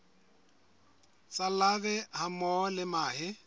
tsa larvae hammoho le mahe